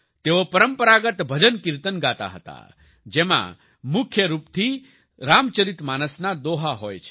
તેઓ પરંપરાગત ભજનકિર્તન ગાતા હતા જેમાં મુખ્યરૂપથી રામચરિતમાનસના દોહા હોય છે